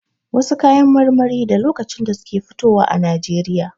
Wasu kayan marmari da lokacin da suke fitowa a Najeriya.